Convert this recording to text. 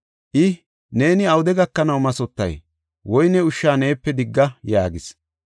I, “Neeni awude gakanaw mathotay? Woyne ushsha neepe digga” yaagis.